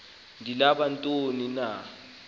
ndibala ntoni na